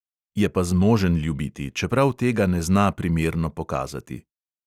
Je pa zmožen ljubiti, čeprav tega ne zna primerno pokazati.